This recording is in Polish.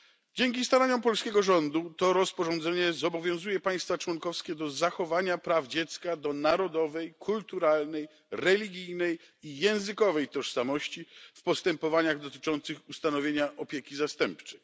Dzięki staraniom polskiego rządu rozporządzenie to zobowiązuje państwa członkowskie do zachowania praw dziecka do tożsamości narodowej, kulturalnej, religijnej i językowej w postępowaniach dotyczących ustanowienia opieki zastępczej.